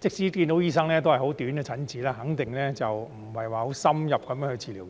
即使看到醫生，也只有很短的診治時間，肯定無法接受深入的治療。